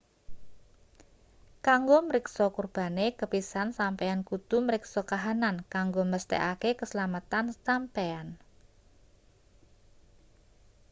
kanggo mriksa kurbane kepisan sampeyan kudu mriksa kahanan kanggo mesthekake keslametan sampeyan